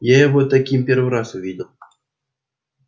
я его таким первый раз увидел